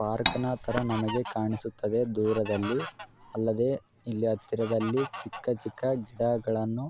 Park ನ ತರ ನಮಗೆ ಕಾಣಿಸುತ್ತದೆ ದೂರದಲ್ಲಿ. ಅಲ್ಲದೆ ಇಲ್ಲಿ ಹತ್ತಿರದಲ್ಲಿ ಚಿಕ್ಕ ಚಿಕ್ಕ ಗಿಡಗಳನ್ನು --